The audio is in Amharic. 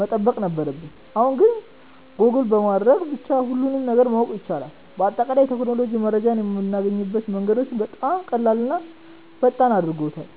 መጠበቅ ነበረብን፣ አሁን ግን ጎግል በማድረግ ብቻ ሁሉንም ነገር ማወቅ ይቻላል። በአጠቃላይ ቴክኖሎጂ መረጃን የማግኛ መንገዳችንን በጣም ቀላልና ፈጣን አድርጎታል።